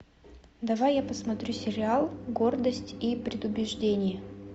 давай я посмотрю сериал гордость и предубеждение